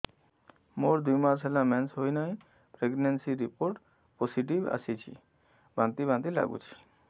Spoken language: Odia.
ମୋର ଦୁଇ ମାସ ହେଲା ମେନ୍ସେସ ହୋଇନାହିଁ ପ୍ରେଗନେନସି ରିପୋର୍ଟ ପୋସିଟିଭ ଆସିଛି ବାନ୍ତି ବାନ୍ତି ଲଗୁଛି